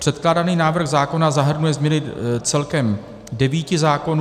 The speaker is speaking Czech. Předkládaný návrh zákona nahrnuje změny celkem devíti zákonů.